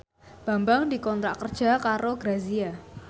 Bambang dikontrak kerja karo Grazia